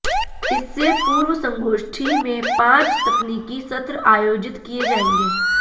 इससे पूर्व संगोष्ठी में पांच तकनीकी सत्र आयोजित किए जाएंगे